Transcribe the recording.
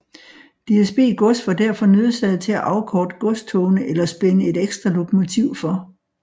DSB Gods var derfor nødsaget til at afkorte godstogene eller spænde et ekstra lokomotiv for